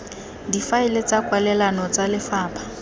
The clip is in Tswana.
difaeleng tsa kwalelano tsa lefapha